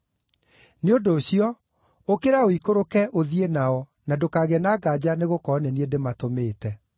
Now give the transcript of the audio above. Nĩ ũndũ ũcio, ũkĩra ũikũrũke, ũthiĩ nao na ndũkagĩe na nganja nĩgũkorwo nĩ niĩ ndĩmatũmĩte.”